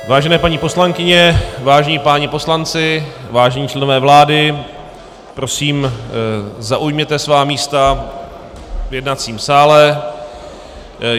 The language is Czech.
Vážené paní poslankyně, vážení páni poslanci, vážení členové vlády, prosím zaujměte svá místa v jednacím sále.